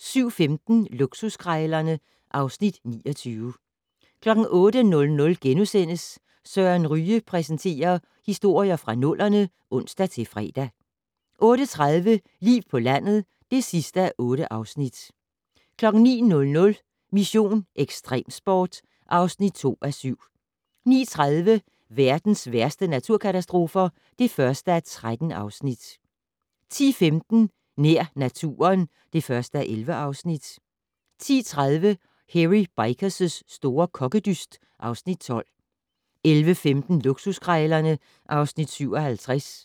07:15: Luksuskrejlerne (Afs. 29) 08:00: Søren Ryge præsenterer: Historier fra nullerne *(ons-fre) 08:30: Liv på landet (8:8) 09:00: Mission: Ekstremsport (2:7) 09:30: Verdens værste naturkatastrofer (1:13) 10:15: Nær naturen (1:11) 10:30: Hairy Bikers' store kokkedyst (Afs. 12) 11:15: Luksuskrejlerne (Afs. 57)